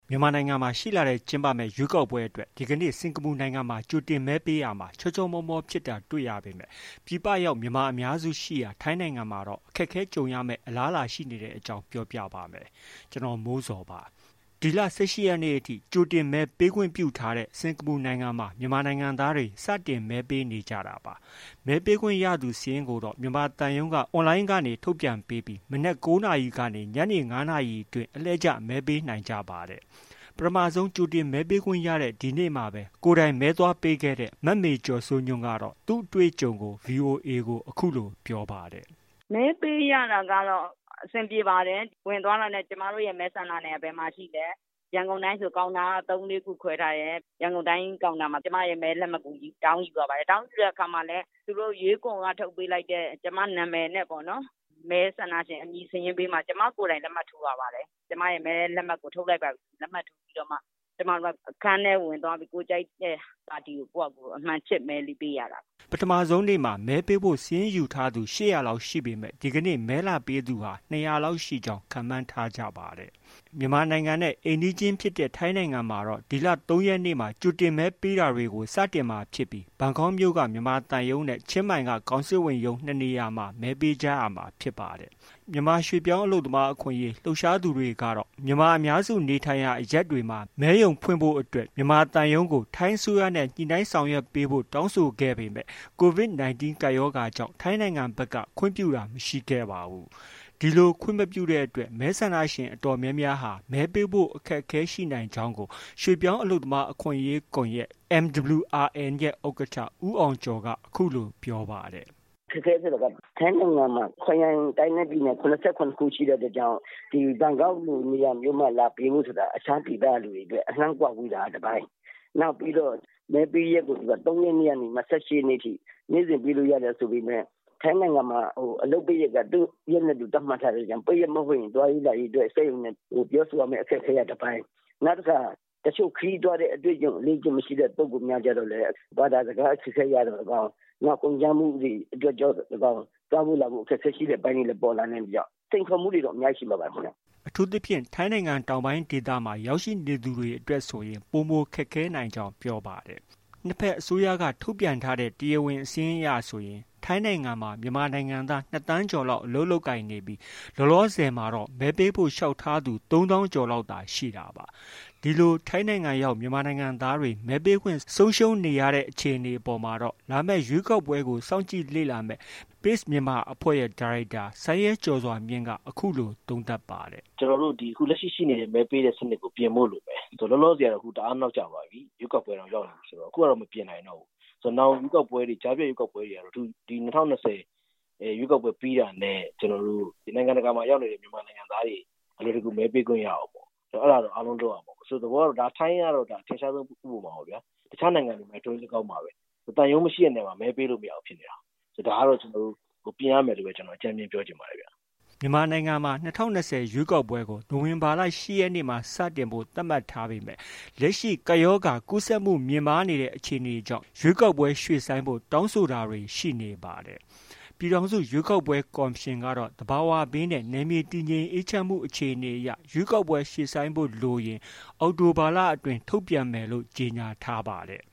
မြန်မာနိုင်ငံမှာ ရှေ့လထဲ ကျင်းပမယ့် ရွေးကောက်ပွဲအတွက် ဒီကနေ့ စင်္ကာပူနိုင်ငံမှာ ကြိုတင်မဲပေးရာမှာ ချောချောမောမောဖြစ်တာ တွေ့ရပေမဲ့ ပြည်ပရောက် မြန်မာအများစုရှိရာ ထိုင်းနိုင်ငံမှာတော့ အခက်အခဲ ကြုံရမယ့် အလားအလာရှိနေတဲ့အကြောင်း ပြောပြပါမယ်။ ဗွီအိုအေမြန်မာပိုင်းသတင်းထောက် ကိုမိုးဇော်က သတင်းပေးပို့ထားပါတယ်။ ဒီလ ၁၈ ရက်နေ့အထိ ကြိုတင်မဲပေးခွင့်ပြုထားတဲ့ စင်္ကာပူနိုင်ငံမှာ မြန်မာနိုင်ငံသားတွေ စတင်မဲပေးနေကြတာပါ။ မဲပေးခွင့်ရမယ့်သူ စာရင်းကိုတော့ မြန်မာသံရုံးက အွန်လိုင်းကနေ ထုတ်ပြန်ပေးပြီး မနက် ၉ နာရီကနေ ညနေ ၅ နာရီအတွင်း အလှည့်ကျ မဲပေးနိုင်ကြပါတယ်။ ပထမဆုံး ကြိုတင်မဲပေးခွင့်ရတဲ့ ဒီနေ့မှာပဲ ကိုယ်တိုင်မဲသွားပေးခဲ့တဲ့ မမေကျော်စိုးညွှန့်ကတော့ သူ့အတွေ့အကြုံကို VOA ကို အခုလို ပြောပါတယ်။ “မဲပေးရတာတော့ အဆင်ပြေပါတယ်။ ဝင်သွားတာနဲ့ ကျမတို့ မဲဆန္ဒနယ်က ဘယ်မှာ ရှိလဲ။ ရန်ကုန်တိုင်းဆို ကောင်တာက ၃- ၄ခု ခွဲထားတယ်။ ရန်ကုန်တိုင်းကောင်တာမှာ ကျမရဲ့ မဲလက်မှတ်ကို တောင်းယူပြီး ရပါတယ်။ တောင်းယူတဲ့အခါမှာလည်း သူတို့ ရွေးကော်က ထုတ်ပေးလိုက်တဲ့ ကျမနာမည်နဲ့ပေါ့နော်၊ မဲဆန္ဒရှင်အမည်စာရင်းဘေးမှာ ကျမကိုယ်တိုင် လက်မှတ်ထိုးရပါတယ်။ ကျမရဲ့ မဲလက်မှတ်ကို ထုတ်လိုက်ပါပြီဆို လက်မှတ်ထိုးပြီးတော့မှ အခန်းထဲကို ဝင်သွားပြီး ကိုယ်ကြိုက်တဲ့ပါတီကို ကိုယ်ဟာကိုယ် အမှန်ခြစ် မဲလေး ပေးရတာပေါ့။ ဒီနေ့အတွက် Q နံပတ်ယူထားတာက ၈၀၀ ပဲ ယူထားပါတယ်။” ပထမဦးဆုံးနေ့မှာ မဲပေးဖို့ စာရင်းယူထားသူ ၈၀၀လောက်ရှိပေမဲ့ ဒီကနေ့ မဲလာပေးသူဟာ ၂၀၀လောက်ရှိကြောင်း ခန့်မှန်းထားကြပါတယ်။ မြန်မာနိုင်ငံနဲ့ အိမ်နီးချင်းဖြစ်တဲ့ ထိုင်းနိုင်ငံမှာတော့ ဒီလ ၃ ရက်နေ့မှာ ကြိုတင်မဲပေးတာတွေကို စတင်မှာဖြစ်ပြီး ဘန်ကောက်မြို့က မြန်မာသံရုံးနဲ့ ချင်းမိုင်မြို့က ကောင်စစ်ဝန်ရုံး ၂နေရာမှာ မဲပေးကြရမှာဖြစ်ပါတယ်။ မြန်မာရွှေ့ပြောင်းအလုပ်သမား အခွင့်အရေး လှုပ်ရှားသူတွေအနေနဲ့ မြန်မာအများစုနေထိုင်ရာအရပ်တွေမှာ မဲရုံဖွင့်ပေးဖို့ မြန်မာသံရုံးကို ထိုင်းအစိုးရနဲ့ ညှိနှိုင်းဆောင်ရွက်ပေးဖို့ တောင်းဆိုခဲ့ပေမဲ့ COVID 19 ကပ်ရောဂါကြောင့် ထိုင်းနိုင်ငံဘက်က ခွင့်ပြုတာမရှိခဲ့ပါဘူး။ ဒီလို ခွင့်မပြုတဲ့အတွက် မဲဆန္ဒရှင်အတော်တော်များများဟာ မဲပေးဖို့အတွက် အခက်အခဲရှိနိုင်ကြောင်းကို ရွှေ့ပြောင်းအလုပ်သမားအခွင့်အရေးကွန်ရက် MWRN ရဲ့ ဥက္ကဋ္ဌ ဦးအောင်ကျော်က အခုလို ပြောပါတယ်။ “အခက်အခဲဆိုတာက ထိုင်းနိုင်ငံမှာ ခရိုင် တိုင်းနဲ့ပြည်နယ် ၇၇ခု ရှိတဲ့အတွက်ကြောင့် ဒီဘန်ကောက်လိုနေရာမျိုးမှာ လာပေးဖို့ဆိုတာ တခြားဒေသကလူတွေအတွက် အလှမ်းကွာဝေးတာက တစ်ပိုင်း၊ နောက်ပြီးတော့ မဲပေးရက်ကို ၃ ရက်နေ့ကနေ ၂၈ ရက်နေ့ထိ နေ့စဉ်ပေးလို့ ရတယ်ဆိုပေမဲ့ ထိုင်းနိုင်ငံမှာ အလုပ်ပိတ်ရက်က သူရက်နဲ့ သူသတ်မှတ်ထားတဲ့အတွက်ကြောင့် ပိတ်ရက်မဟုတ်ရင် သွားရေးလာရေးအတွက် စက်ရုံနဲ့ ပြောဆိုရမယ့် အခက်အခဲက တစ်ပိုင်း၊ နောက်တစ်ခါ တချို့ခရီးသွားတဲ့ အတွေ့အကြုံမရှိတဲ့ ပုဂ္ဂိုလ်များအတွက်ကျတော့လည်း ဘာသာစကားအခက်အခဲအရ သော်လည်းကောင်း၊ နောက်ကုန်ကျမှုတွေအတွက်သော်လည်းကောင်း၊သွားဖို့ လာဖို့ အခက်အခဲရှိတဲ့အပိုင်းတွေလည်း ပေါ်လာနိုင်တဲ့အတွက်ကြောင့် စိန်ခေါ်မှုတွေတော့ အများကြီးရှိမှာပါခင်ဗျ။” အထူးသဖြင့် ထိုင်းနိုင်ငံတောင်ပိုင်းဒေသမှာ ရောက်ရှိနေသူတွေအတွက်ဆိုရင် ပိုမိုခက်ခဲနိုင်ကြောင်း ပြောပါတယ်။ နှစ်ဘက်အစိုးရက ထုတ်ပြန်ထားတဲ့ တရားဝင်စာရင်းအရဆိုရင် ထိုင်းနိုင်ငံမှာ မြန်မာနိုင်ငံသား ၂,၀၀၀,၀၀၀ ကျော်လောက် အလုပ်လုပ်ကိုင်နေပြီး လောလောဆယ်မှာတော့ မဲပေးဖို့ လျှောက်ထားသူ ၃၀,၀၀၀ ကျော်သာရှိတာပါ။ ဒီလို ထိုင်းနိုင်ငံရောက် မြန်မာနိုင်ငံသားတွေ မဲပေးပိုင်ခွင့် ဆုံးရှုံးနေရတဲ့ အခြေအနေအပေါ်မှာတော့ လာမယ့်ရွေးကောက်ပွဲကို စောင့်ကြည့်လေ့လာမယ့် Pace Myanmar အဖွဲ့ရဲ့ ဒါရိုက်တာ စိုင်းရဲကျော်စွာမြင့်က အခုလို သုံးသပ်ပါတယ်။ “ကျနော်တို့ အခုလက်ရှိ ရှိနေတဲ့ မဲပေးတဲ့ စနစ်ကို ပြင်ဖို့လိုတယ်။ လောလောဆည်ကတော့ တအားနောက်ကျသွားပြီ။ ရွေးကောက်ပွဲတောင် ရောက်လာမယ်ဆိုတော့ အခုကတော့ မပြင်နိုင်တော့ဘူး။ နောင်ရွေးကောက်ပွဲတွေ၊ ကြားဖြတ်ရွေးကောက်ပွဲတွေ၊ ဒီ ၂၀၂၀ ရွေးကောက်ပွဲပြီးတာနဲ့ ကျနော်တို့ နိုင်ငံတကာမှာ ရောက်နေတဲ့ မြန်မာနိုင်ငံသားတွေ အလွယ်တကူ မဲပေးခွင့်ရအောင် အဲဒါတော့ အားလုံး လုပ်ရမှာပေါ့။ သဘောကတော့ ထိုင်းကတော့ အထင်ရှားဆုံးဥပမာပေါ့ဗျာ။ တခြားနိုင်ငံတွေမှာလည်း ထိုနည်းလည်းကောင်းပါပဲ။ သံရုံးမရှိတဲ့နေရာမှာ မဲပေးလို့ မရဘူးဖြစ်နေတာကိုး။ ဒါကတော့ ကျနော်တို့ ပြင်ရမယ်လို့ပဲ အကြမ်းဖျဉ်းပြောချင်ပါတယ်ခင်ဗျ။ ” မြန်မာနိုင်ငံမှာ ၂၀၂၀ ရွေးကောက်ပွဲကို နိုဝင်ဘာလ ၈ရက်နေ့မှာ စတင်ဖို့ သတ်မှတ်ထားပေမဲ့ လက်ရှိ ကပ်ရောဂါ ကူးစက်မှုမြင့်မားနေတဲ့အခြေအနေကြောင့် ရွေးကောက်ပွဲရွှေ့ဆိုင်းဖို့ တောင်းဆိုတာတွေ ရှိနေပါတယ်။ ပြည်ထောင်စုရွေးကောက်ပွဲကော်မရှင်ကတော့ သဘာဝဘေးနဲ့ နယ်မြေတည်ငြိမ်အေးချမ်းမှု အခြေအနေအရ ရွေးကောက်ပွဲရွှေ့ဆိုင်းဖို့လိုရင် အောက်တိုဘာလအတွင်း ထုတ်ပြန်သွားမယ်လို့ ကြေညာထားပါတယ်